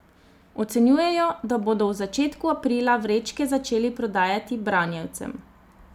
Ocenjujejo, da bodo v začetku aprila vrečke začeli prodajati branjevcem.